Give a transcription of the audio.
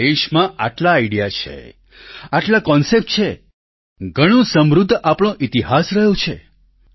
આપણા દેશમાં આટલા આઈડીયા છે આટલા કોન્સેપ્ટ છે ઘણો સમૃદ્ધ આપણો ઈતિહાસ રહ્યો છે